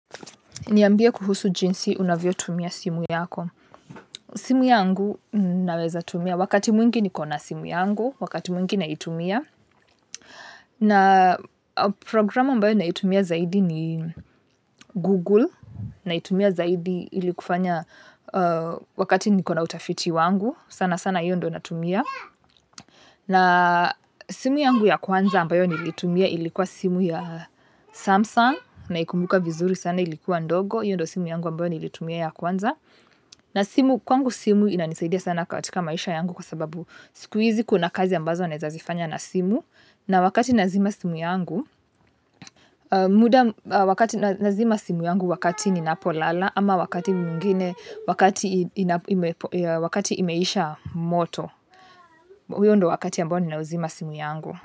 Niambie kuhusu jinsi unavyotumia simu yako simu yangu naweza tumia. Wakati mwingi nikona simu yangu. Wakati mwingi naitumia. Na programu ambayo naitumia zaidi ni Google. Naitumia zaidi ili kufanya wakati nikona utafiti wangu sana sana hiyo ndiyo natumia. Na simu yangu ya kwanza ambayo nilitumia ilikuwa simu ya Samsung. Naikumbuka vizuri sana ilikuwa ndogo. Hiyo ndiyo simu yangu niliyotumia ya kwanza. Na simu, kwangu simu inanisaidia sana katika maisha yangu kwa sababu siku hizi kuna kazi ambazo ninazifanya na simu. Na wakati nazima simu yangu, wakati nazima simu yangu wakati ninapolala ama wakati mwingine wakati imeisha moto. Huo ndio wakati ambao ninazima simu yangu.